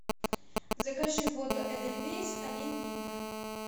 закажи воду эдельвейс один литр